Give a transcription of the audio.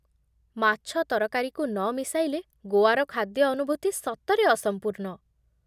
ମାଛ ତରକାରୀକୁ ନ ମିଶାଇଲେ ଗୋଆର ଖାଦ୍ୟ ଅନୁଭୂତି ସତରେ ଅସମ୍ପୂର୍ଣ୍ଣ ।